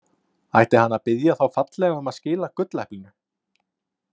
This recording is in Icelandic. Ætti hann að biðja þá fallega um að skila gulleplinu?